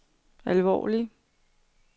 alvorlig